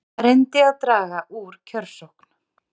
Reyndi að draga úr kjörsókn